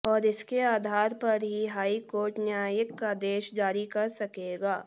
और इसके आधार पर ही हाई कोर्ट न्यायिक आदेश जारी कर सकेंगे